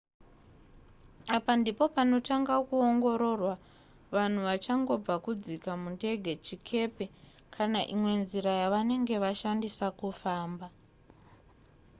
apa ndipo panotanga kuongororwa vanhu vachangobva kudzika mundege chikepe kana imwe nzira yavanenge vashandisa kufamba